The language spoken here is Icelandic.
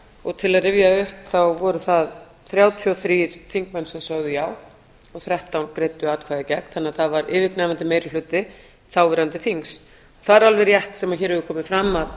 og til að rifja upp þá voru það þrjátíu og þrír þingmenn sem sögðu já og þrettán greiddu atkvæði gegn þannig að það var yfirgnæfandi meiri hluti þáverandi þings það er alveg rétt sem hér hefur komið fram að